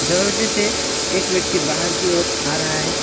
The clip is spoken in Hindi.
दरवाजे से एक व्यक्ति बाहर की ओर आ रहा है।